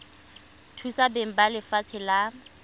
thusa beng ba lefatshe la